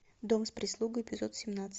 дом с прислугой эпизод семнадцать